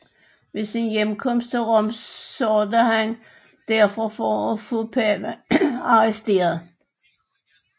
Ved sin hjemkomst til Rom sørgede han derfor for at få paven arresteret